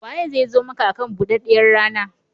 Waye zai zo maka akan buɗaɗɗiyar rana?